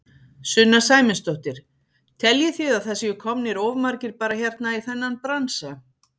Sunna Sæmundsdóttir: Teljið þið að það séu komnir of margir bara hérna í þennan bransa?